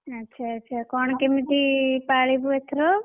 ଆଚ୍ଛା ଆଚ୍ଛା କଣ କେମିତି ପାଳିବୁ ଏଥର?